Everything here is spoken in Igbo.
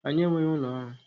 Anyị enweghị ụlọ ọrụ